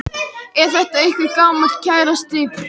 Er þetta einhver gamall kærasti eða hvað?